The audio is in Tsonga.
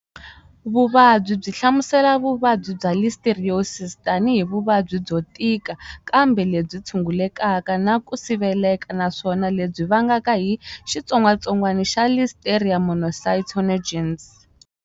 Vuvabyi yi hlamusela vuvabyi bya Listeriosis tanihi vuvabyi byo tika kambe lebyi tshungulekaka na ku siveleka naswona lebyi vangaka hi xitsongwatsongwani xa Listeria monocytogenes.